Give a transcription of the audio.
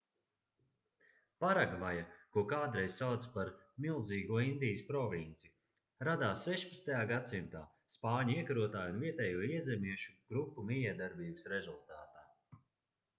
paragvaja ko kādreiz sauca par milzīgo indijas provinci radās 16. gs spāņu iekarotāju un vietējo iezemiešu grupu mijiedarbības rezultātā